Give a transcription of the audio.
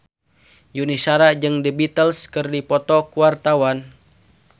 Yuni Shara jeung The Beatles keur dipoto ku wartawan